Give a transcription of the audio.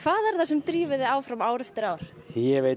er það sem drífur þig áfram ár eftir ár ég veit